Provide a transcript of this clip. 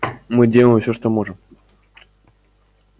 мы делаем всё что можем